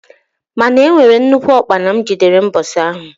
Mana e nwere nnukwu ukpana m jidere mbosi ahụ.